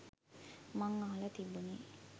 මං අහලා තිබුනේ